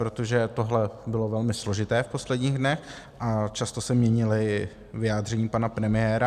Protože tohle bylo velmi složité v posledních dnech a často se měnila vyjádření pana premiéra.